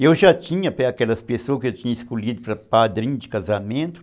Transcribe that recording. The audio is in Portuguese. Eu já tinha aquelas pessoas que eu tinha escolhido para padrinho de casamento.